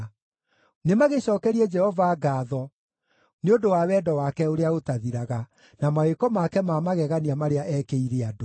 Nĩmagĩcookerie Jehova ngaatho nĩ ũndũ wa wendo wake ũrĩa ũtathiraga, na mawĩko make ma magegania marĩa eekĩire andũ.